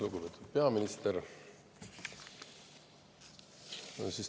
Lugupeetud peaminister!